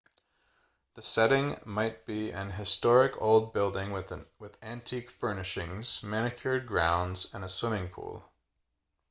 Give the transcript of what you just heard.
the setting might be an historic old building with antique furnishings manicured grounds and a swimming pool